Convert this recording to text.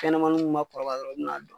kɛnɛmanunw ma kɔrɔba dɔrɔn u bi n'a d